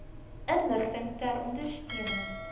inligting ter ondersteuning